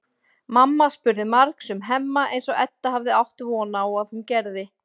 Mamma spurði margs um Hemma eins og Edda hafði átt von á að hún gerði.